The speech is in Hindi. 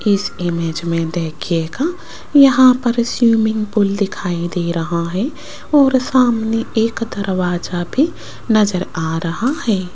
इस इमेज में देखिएगा यहां पर स्विमिंग पूल दिखाई दे रहा है और सामने एक दरवाजा भी नजर आ रहा है।